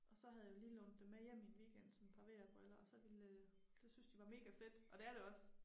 Og så havde jeg jo lige lånt dem med hjem i en weekend sådan et par VR briller og så ville øh det syntes de var mega fedt og det er det også